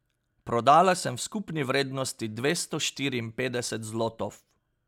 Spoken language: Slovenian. Prodala sem v skupni vrednosti dvesto štiriinpetdeset zlotov.